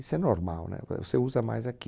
Isso é normal, né? Ué, você usa mais aqui.